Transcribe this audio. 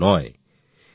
মোটেই না